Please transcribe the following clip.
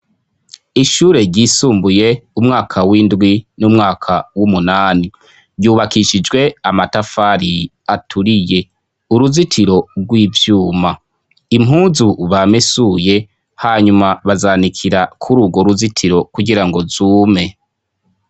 Ishure ryisumbuye umwaka w'indwi n'umwaka w'umunani. Ryubakishijwe amatafari aturiye. Uruzitiro rw'ivyuma. Impuzu bamesuye ,hanyuma bazanikira kuri urwo ruzitiro kugirango zume.